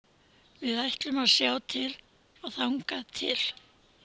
Við ætlum að sjá til þangað til.